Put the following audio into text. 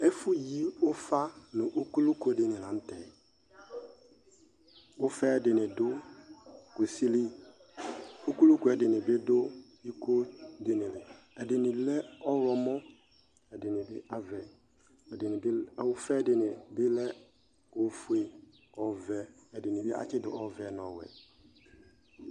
Ɛfʋyi ʋfa nʋ ukulu kʋ di ni la nʋ tɛ Ʋfa yɛ dini dʋ kusi li Ukulu kʋ yɛ dini bi dʋ iko di ni li Ɛdini lɛ ɔwlɔmɔ, ɛdini bi avɛ, ɛdini bi, ʋfa yɛ dini bi lɛ ofue, ɔvɛ, ɛdini bi atsidʋ ɔvɛ nʋ ɔwɛ